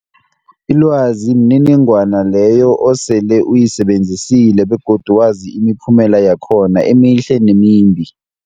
Ilwazi mniningwana leyo osele uyisebenzisile begodu wazi imiphumela yakhona emihle nemimbi.